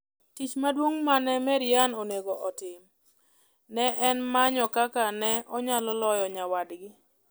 Tich maduong' ma ne Maryann onego otim ne en manyo kaka ne onyalo loyo nyawadgi.